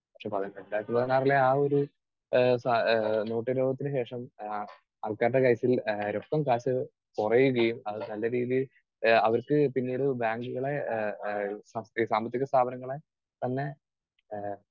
speaker 2 പക്ഷേ രണ്ടായിരത്തി പതിനാറിലെ ആ ഒരു ഏഹ് നോട്ടു നിരോധനത്തിനു ശേഷം ആഹ് ആൾക്കാരുടെ കാര്യത്തിൽ ആഹ് രൊക്കം കാശ് കുറയുകയും അത് നല്ല രീതിയിൽ ഏഹ് അവർക്ക് പിന്നീട് ബാങ്കുകളെ ഏഹ് ഏഹ് സാമ്പത്തിക സ്ഥാപനങ്ങളെ തന്നെ ആഹ്